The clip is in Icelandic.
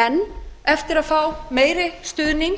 enn eftir að fá meiri stuðning